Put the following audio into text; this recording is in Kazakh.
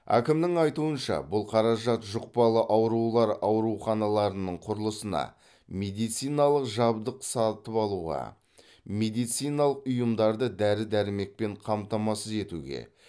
әкімнің айтуынша бұл қаражат жұқпалы аурулар ауруханаларының құрылысына медициналық жабдық сатып алуға медициналық ұйымдарды дәрі дәрмекпен қамтамасыз етуге